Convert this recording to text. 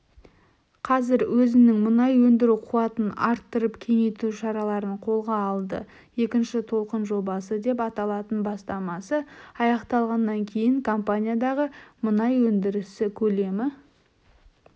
қазір өзінің мұнай өндіру қуатын арттырып кеңейту шараларын қолға алды екінші толқын жобасы деп аталатын бастамасы аяқталғаннан кейін компаниядағы мұнай өндірісі көлемі